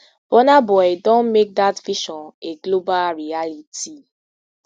burna boy don make dat vision a global reality